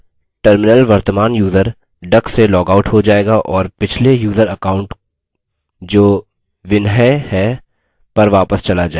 अब terminal वर्तमान user duck से logs out हो जाएगा और पिछले यूज़र account जो vinhai है पर वापस चला जाएगा